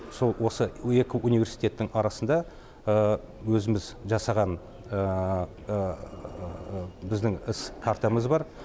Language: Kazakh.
сол осы екі университеттің арасында өзіміз жасаған біздің іс картамыз бар